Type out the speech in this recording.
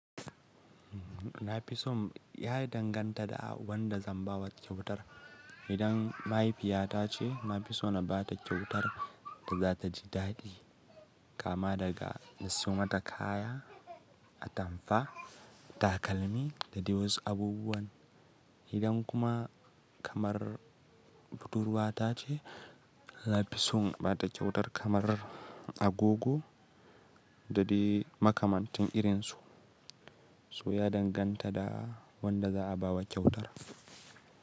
Na fi son ya yi danganta da wanda zan ba wa kyautar. Idan mahaifiyata ce, na fi so na ba ta kyautar da za ta ji daɗi, kama daga na siyo mata kaya, atamfa, takalmi da dai wasu abubuwan. Idan kuma kamar budurwata ce, na fi son ba ta kyautar kamar agogo da dai makamantun irin su. So ya danganta da wanda za a ba wa kyautar.